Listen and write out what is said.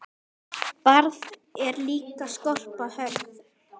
Barð er líka skorpa hörð.